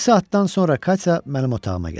Bir saatdan sonra Katya mənim otağıma gəldi.